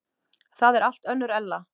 Það er allt önnur Ella.